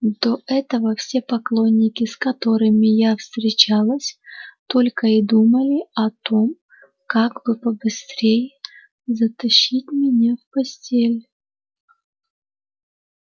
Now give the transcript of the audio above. до этого все поклонники с которыми я встречалась только и думали о том как бы побыстрее затащить меня в постель